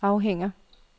afhænger